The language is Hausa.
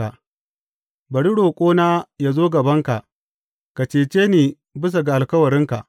Bari roƙona yă zo gabanka; ka cece ni bisa ga alkawarinka.